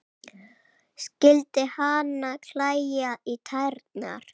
Skyldi hana klæja í tærnar?